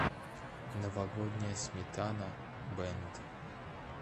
новогодняя сметана бэнд